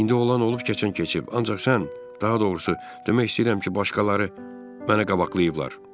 İndi olan olub keçən keçib, ancaq sən, daha doğrusu, demək istəyirəm ki, başqaları mənə qabaqlayıblar.